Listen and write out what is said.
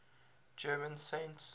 german saints